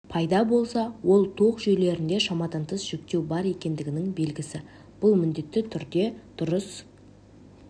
пайда болса ол тоқ жүйелерінде шамадан тыс жүктеу бар екендігінің белгісі бұл міндетті түрде дұрыс